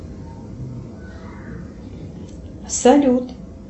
салют